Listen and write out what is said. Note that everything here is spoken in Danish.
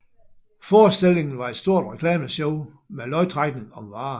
Forestillingen var et stort reklameshow med lodtrækning om varer